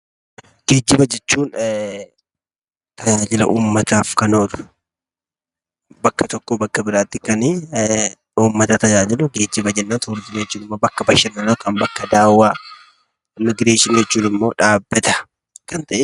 Geejjiba jechuun tajaajila uummataaf kan oolu bakka tokkoo bakka biraatti kanii uummata tajaajilu geejjiba jenna. Turizimii jechuun immoo bakka bashannanaa yookan bakka daawwaa. Immigireeshinii jechuun immoo dhaabbata kan ta'e.